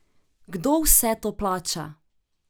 Kdo vse to plača?